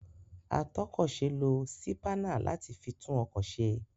Atọ́kọ̀se lo sípánà láti fi tún ọkọ̀ se.